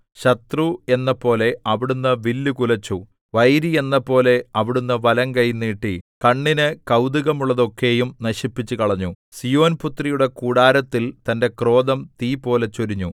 ശത്രു എന്നപോലെ അവിടുന്ന് വില്ല് കുലച്ചു വൈരി എന്നപോലെ അവിടുന്ന് വലങ്കൈ നീട്ടി കണ്ണിന് കൌതുകമുള്ളത് ഒക്കെയും നശിപ്പിച്ചുകളഞ്ഞു സീയോൻപുത്രിയുടെ കൂടാരത്തിൽ തന്റെ ക്രോധം തീപോലെ ചൊരിഞ്ഞു